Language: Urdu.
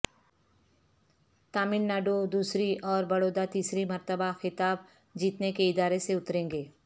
تمل ناڈو دوسری اور بڑودہ تیسری مرتبہ خطاب جیتنے کے ارادے سے اتریں گے